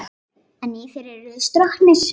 En í þér eru þeir stroknir.